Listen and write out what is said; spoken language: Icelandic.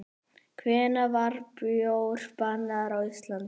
Hvenær var bjór bannaður á Íslandi?